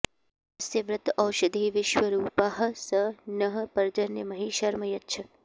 यस्य॑ व्र॒त ओष॑धीर्वि॒श्वरू॑पाः॒ स नः॑ पर्जन्य॒ महि॒ शर्म॑ यच्छ